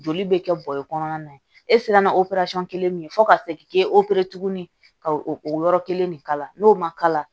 Joli bɛ kɛ bɔrɛ kɔnɔna na e sera ka kelen min ye fo ka se k'i kɛ tugunni ka o yɔrɔ kelen de kala n'o ma kala